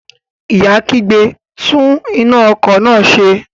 Ìyá kígbe, "tún iná ọkọ̀ náà ṣe".